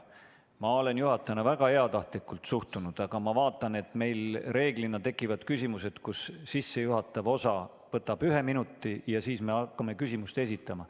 Ma olen seni juhatajana väga heatahtlikult suhtunud, aga ma vaatan, et meil reeglina tekivad küsimused, mille sissejuhatav osa võtab ühe minuti ja alles siis hakkame küsimust esitama.